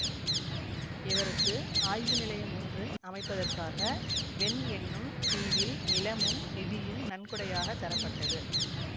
இவருக்கு ஆய்வு நிலையம் ஒன்று அமைப்பதற்காக வென் என்னும் தீவில் நிலமும் நிதியும் நன்கொடையாகத் தரப்பட்டது